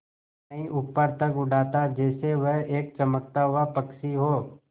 कहीं ऊपर तक उड़ाता जैसे वह एक चमकता हुआ पक्षी हो